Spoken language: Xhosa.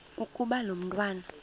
ukuba lo mntwana